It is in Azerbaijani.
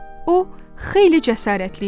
O xeyli cəsarətli idi.